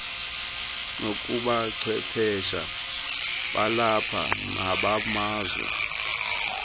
kubuchwephesha balapha nobamazwe